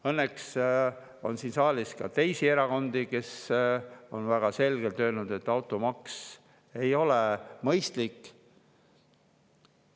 Õnneks on siin saalis ka teisi erakondi, kes on väga selgelt öelnud, et automaks ei ole mõistlik.